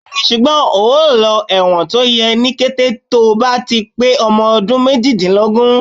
Bẹ́ẹ̀ni, ṣùgbọ́n ò lọ ẹ̀wọ̀n tó yẹ ní kété tó bá ti pé ọmọ ọdún méjìdínlógún.